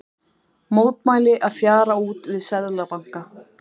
Mótmæli að fjara út við Seðlabanka